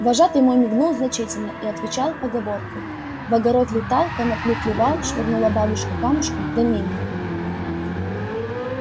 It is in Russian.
вожатый мой мигнул значительно и отвечал поговоркою в огород летал конопли клевал швырнула бабушка камушком да мимо